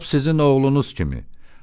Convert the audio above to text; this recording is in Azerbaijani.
Lap sizin oğlunuz kimi.